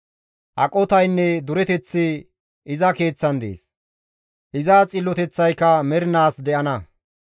Aqotaynne dureteththi iza keeththan dees; iza xilloteththayka mernaas de7ana.